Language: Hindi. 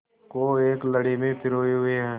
को एक लड़ी में पिरोए हुए हैं